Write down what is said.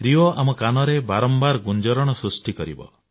Rio ଆମ କାନରେ ବାରମ୍ବାର ଗୁଞ୍ଜରଣ ସୃଷ୍ଟି କରିବ